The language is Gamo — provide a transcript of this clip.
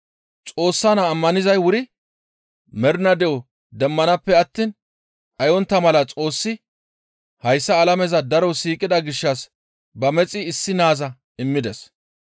Xoossa Naa ammanizay wuri mernaa de7o demmanaappe attiin dhayontta mala Xoossi hayssa alameza daro siiqida gishshas ba mexi issi naaza immides.